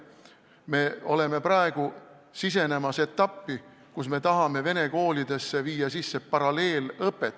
Me hakkame praegu sisenema etappi, kus me tahame vene koolidesse sisse viia paralleelõppe.